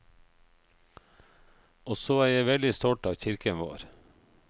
Og så er jeg veldig stolt av kirken vår.